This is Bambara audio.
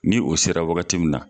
Ni o sera wagati min na